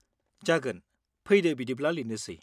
जागोन, फैदो बिदिब्ला लिरनोसै।